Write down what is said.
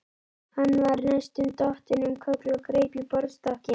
Hann var næstum dottinn um koll og greip í borðstokkinn.